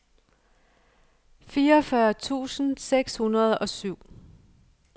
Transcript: fireogfyrre tusind seks hundrede og syv